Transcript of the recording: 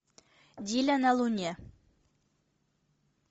диля на луне